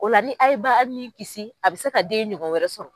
Ola ni a ye ba nin kisi a bɛ se ka den ɲɔgɔn wɛrɛ sɔrɔ.